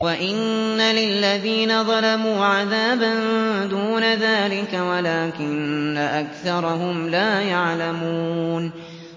وَإِنَّ لِلَّذِينَ ظَلَمُوا عَذَابًا دُونَ ذَٰلِكَ وَلَٰكِنَّ أَكْثَرَهُمْ لَا يَعْلَمُونَ